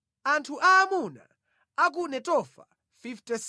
Anthu aamuna a ku Netofa 56